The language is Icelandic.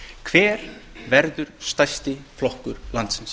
hver verður stærsti flokkur landsins